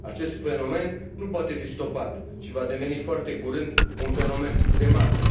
Acest fenomen nu poate fi stopat și va deveni foarte curând un fenomen de masă.